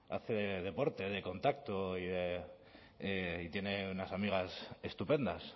hace deporte de contacto y tiene unas amigas estupendas